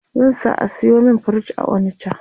zan sa a sayo min fridge a onicha